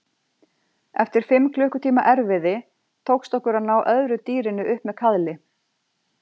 Eftir fimm klukkutíma erfiði tókst okkur að ná öðru dýrinu upp með kaðli.